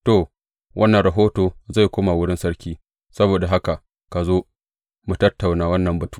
To, wannan rahoto zai koma wurin sarki; saboda haka ka zo, mu tattauna wannan batu.